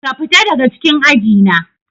Ka fita daga cikin aji na.